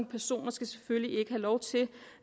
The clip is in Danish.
personer skal selvfølgelig ikke have lov til